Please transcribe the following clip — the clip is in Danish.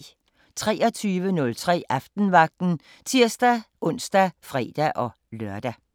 23:03: Aftenvagten (tir-ons og fre-lør)